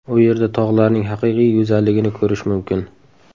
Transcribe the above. U yerda tog‘larning haqiqiy go‘zalligini ko‘rish mumkin.